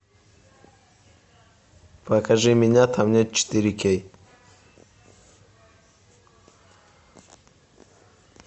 покажи меня там нет четыре кей